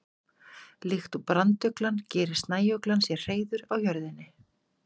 Líkt og branduglan gerir snæuglan sér hreiður á jörðinni.